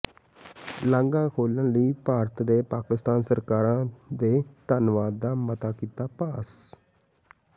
ਲਾਂਘਾ ਖੋਲ੍ਹਣ ਲਈ ਭਾਰਤ ਤੇ ਪਾਕਿਸਤਾਨ ਸਰਕਾਰਾਂ ਦੇ ਧੰਨਵਾਦ ਦਾ ਮਤਾ ਕੀਤਾ ਪਾਸ